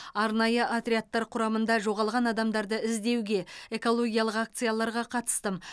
арнайы отрядтар құрамында жоғалған адамдарды іздеуге экологиялық акцияларға қатыстым